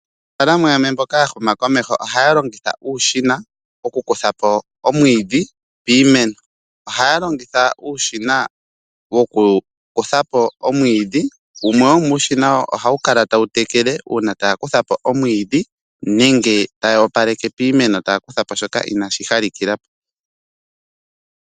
Aanafaalama yamwe mboka ya huma komeho ohaya longitha uushina, okuhedha po omwiidhi piimeno. Ohaya longitha uushina woku kuthapo omwiidhi, wumwe womuushina ohawu kala tawu tekele uuna tawu kuthapo omwiidhi, nenge taya opaleke piimeno taya kuthapo shoka inashi opalela po.